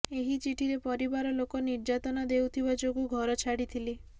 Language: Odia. ଏହି ଚିଠିରେ ପରିବାର ଲୋକ ନିର୍ଯାତନା ଦେଉଥିବା ଯୋଗୁଁ ଘର ଛାଡିଥିଲି